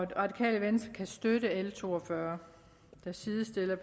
det radikale venstre kan støtte l to og fyrre der sidestiller